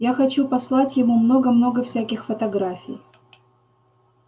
я хочу послать ему много-много всяких фотографий